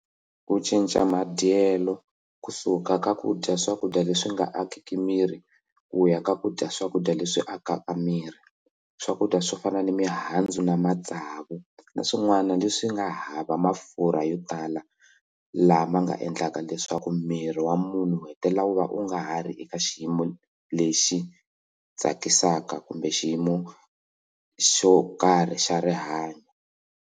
Ku cinca madyelo kusuka ka ku dya swakudya leswi nga akiki miri ku ya ka kudya swakudya leswi akaka miri swakudya swo fana na mihandzu na matsavu na swin'wana leswi nga hava mafurha yo tala laha ma nga endlaka leswaku miri wa munhu u hetelela u va u nga ha ri eka xiyimo lexi tsakisaka kumbe xiyimo xo karhi xa rihanyo.